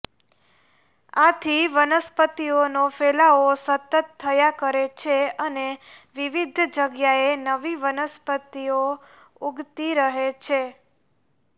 આથી વનસ્પતિઓનો ફેલાવો સતત થયા કરે છે અને વિવિધ જગ્યાએ નવી વનસ્પતિઓ ઉગતી રહે છે